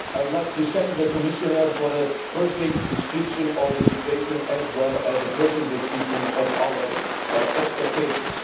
I would like to thank the Commissioner for a perfect description of the situation, as well as a perfect description of our expectations.